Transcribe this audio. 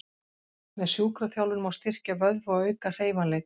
Með sjúkraþjálfun má styrkja vöðva og auka hreyfanleika.